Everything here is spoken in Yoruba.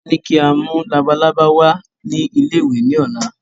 Wọn ní kí a mú labalábá wá ní ilé ìwé ni ọ̀la